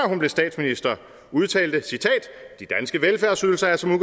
hun blev statsminister udtalte citat de danske velfærdsydelser er som